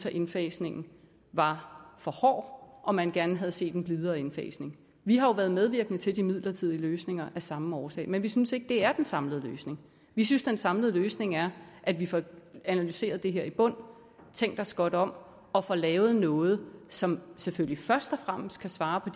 at indfasningen var for hård og at man gerne havde set en blidere indfasning vi har jo været medvirkende til de midlertidige løsninger af samme årsag men vi synes ikke det er den samlede løsning vi synes den samlede løsning er at vi får analyseret det her i bund tænkt os godt om og får lavet noget som selvfølgelig først og fremmest kan svare på